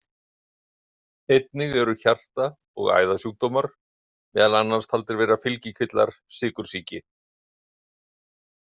Einnig eru hjarta- og æðasjúkdómar meðal annars taldir vera fylgikvillar sykursýki.